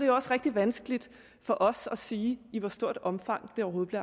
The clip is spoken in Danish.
jo også rigtig vanskeligt for os at sige i hvor stort omfang det overhovedet